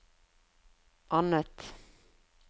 annet